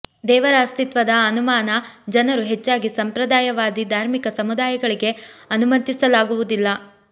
ದೇವರ ಅಸ್ತಿತ್ವದ ಅನುಮಾನ ಜನರು ಹೆಚ್ಚಾಗಿ ಸಂಪ್ರದಾಯವಾದಿ ಧಾರ್ಮಿಕ ಸಮುದಾಯಗಳಿಗೆ ಅನುಮತಿಸಲಾಗುವುದಿಲ್ಲ